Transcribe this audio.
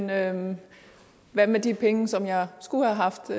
jamen hvad med de penge som jeg skulle have haft